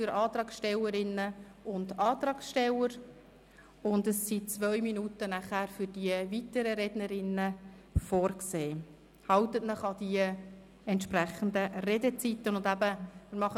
Für Antragstellerinnen und Antragsteller sind 4 Minuten Redezeit, für die weiteren Rednerinnen und Redner 2 Minuten Redezeit vorgesehen.